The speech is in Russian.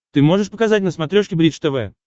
ты можешь показать на смотрешке бридж тв